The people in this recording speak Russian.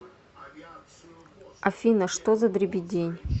афина что за дребедень